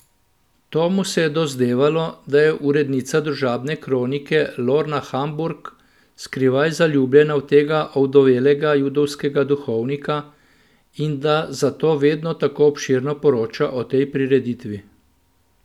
Tomu se je dozdevalo, da je urednica družabne kronike Lorna Hamburg skrivaj zaljubljena v tega ovdovelega judovskega duhovnika in da zato vedno tako obširno poroča o tej prireditvi.